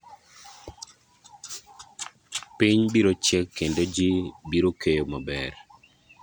esumnd tnd Si tekaunti e tamthilia ‘kigogo’ which lapses in 2021 will be replaced by ‘si shwari.